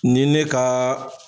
Ni ne kaa